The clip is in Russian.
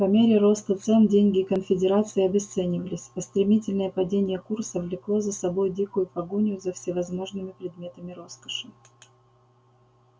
по мере роста цен деньги конфедерации обесценивались а стремительное падение курса влекло за собой дикую погоню за всевозможными предметами роскоши